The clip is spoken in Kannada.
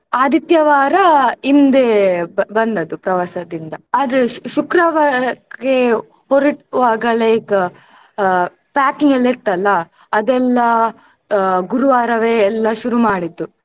ಆದಿತ್ಯವಾರ ಹಿಂದೆ ಬಂದದ್ದು ಪ್ರವಾಸದಿಂದ ಆದ್ರೆ ಶು~ ಶುಕ್ರವಾರಕ್ಕೆ ಹೊರಡುವಾಗ like ಆ packing ಎಲ್ಲ ಇತ್ತಲ್ಲ ಅದೆಲ್ಲ ಆ ಗುರುವಾರವೆ ಎಲ್ಲ ಶುರುಮಾಡಿದ್ದು.